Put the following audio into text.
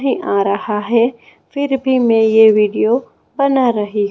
नहीं आ रहा है फिर भी मैं ये वीडियो बना रही--